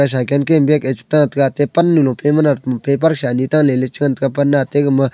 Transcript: syken ken bag e cheta tega ate pan nu low toh a paper sa low taley ley chengan tega pan na ate gama--